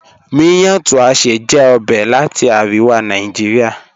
Miyan Tuashe jẹ ọbẹ̀ lati Aríwà Nàìjíríà.